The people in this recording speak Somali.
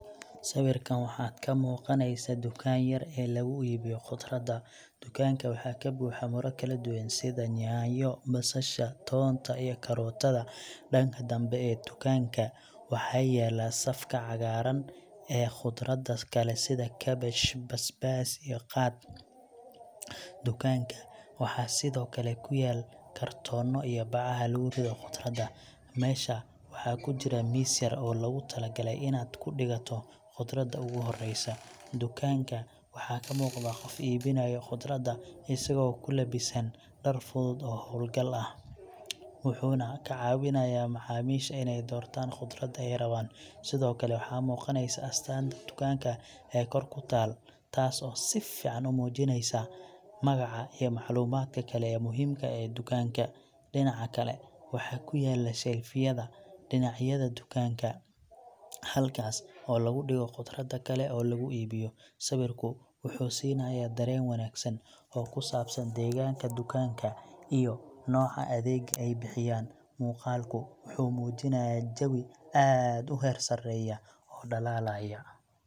Sawirkan waxaa ka muuqanaysaa dukaanka yar ee lagu iibiyo khudrada. Dukaanka waxaa ka buuxa miro kala duwan sida yaanyo, basasha, toonta, iyo karootada. Dhanka dambe ee tukaanka waxaa yaalla safka cagaaran ee khudradda kale sida kaabash, basbaas, iyo qaad. Dukaanka waxaa sidoo kale ku yaal kartoono iyo bacaha lagu rido khudrada. Meesha waxaa ku jira miis yar oo loogu talagalay inaad ku dhigato khudrada ugu horeysa. Dukaanka waxaa ka muuqda qof iibinaya khudrada, isagoo ku labisan dhar fudud oo hawlgal ah, wuxuuna ka caawinayaa macaamiisha inay doortaan khudrada ay rabaan. Sidoo kale, waxaa muuqanaysaa astaanta dukaanka ee kor ku taal, taas oo si fiican u muujinaysa magaca iyo macluumaadka kale ee muhiimka ah ee dukaanka. Dhinaca kale, waxaa ku yaal shelf yada dhinacyada dukaanka, halkaas oo lagu dhigo khudrada kale oo laga iibiyo. Sawirku wuxuu siinayaa dareen wanaagsan oo ku saabsan deegaanka dukaanka iyo nooca adeegga ay bixiyaan. Muuqaalku wuxuu muujinayaa jawi aad u heersareeya oo dhalaalaya.